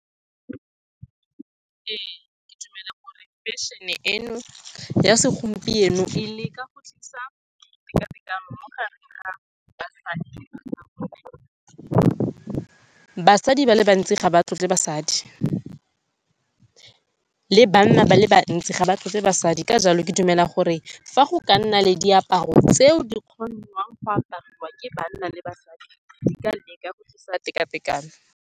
Ee, ke dumela gore fashion-e eno ya segompieno e leka go tlisa teka-tekano mo gareng ga basadi le banna. Basadi ba le bantsi ga ba tlotle basadi, le banna ba le bantsi ga ba tlotle basadi. Ka jalo, ke dumela gore fa go ka nna le diaparo tseo di kgonang go apariwa ke banna le basadi, di ka leka go tlisa teka-tekano.